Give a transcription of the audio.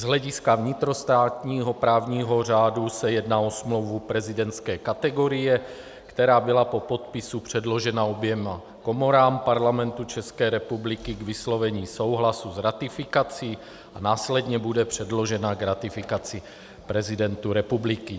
Z hlediska vnitrostátního právního řádu se jedná o smlouvu prezidentské kategorie, která byla po podpisu předložena oběma komorám Parlamentu České republiky k vyslovení souhlasu s ratifikací a následně bude předložena k ratifikaci prezidentu republiky.